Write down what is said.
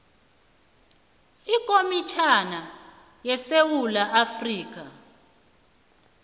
ikomitjhana yesewula afrika